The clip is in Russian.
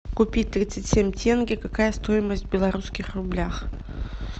купить тридцать семь тенге какая стоимость в белорусских рублях